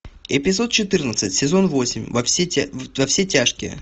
эпизод четырнадцать сезон восемь во все тяжкие